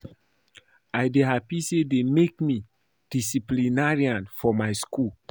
I dey happy say dey make me disciplinarian for my school